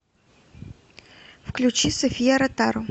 включи софия ротару